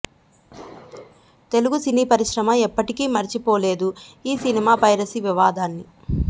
Telugu cine పరిశ్రమ ఎప్పటికీ మర్చిపోలేదు ఈ సినిమా పైరసీ వివాదాన్ని